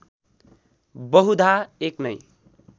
बहुधा एक नै